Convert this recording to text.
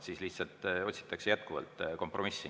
Siis lihtsalt otsitakse jätkuvalt kompromissi.